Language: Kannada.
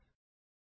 ಪುನಃ ರನ್ ಮಾಡೋಣ